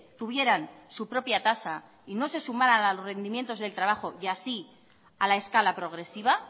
tuvieran su propia tasa y no se sumaran a los rendimientos del trabajo y así a la escala progresiva